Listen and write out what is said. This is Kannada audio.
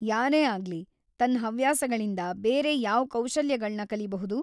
ಯಾರೇ ಆಗ್ಲಿ ತನ್ ಹವ್ಯಾಸಗಳಿಂದ ಬೇರೆ ಯಾವ್ ಕೌಶಲ್ಯಗಳ್ನ ಕಲಿಬಹುದು?